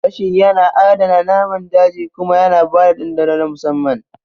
Gashi yana adana naman daji kuma yana ba da dandano na musamman